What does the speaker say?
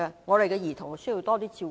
我們的兒童需要多些照顧。